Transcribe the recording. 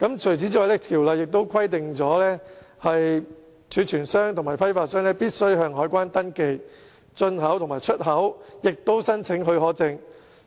此外，條例亦規定，貯存商和批發商須向海關登記進口和出口，並且申請許可證。